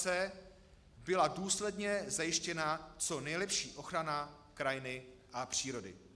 c) byla důsledně zajištěna co nejlepší ochrana krajiny a přírody.